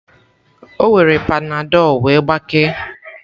O were panadol wee gbakee.